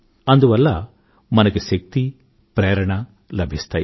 అందువల్ల మనకి శక్తి ప్రేరణ లభిస్తాయి